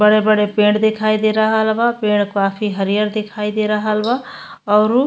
बड़े बड़े पड़े दिखाई दे रहल बा पड़े काफी हरियर दिखाई दे रहल बा औरू --